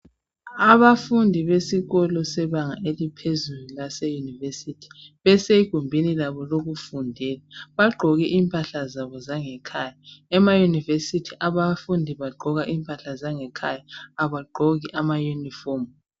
Abafundi besikolo sebanga eliphezulu lase university besegumbini labo lokufundela bagqoke impahla zabo zange khaya ema univesity abafundi bagqoka impahla zange khaya abagqoki ama unifomu